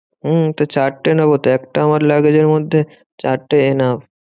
হম তো চারটে নেবোতো একটা আমার luggage এর মধ্যে চারটে enough.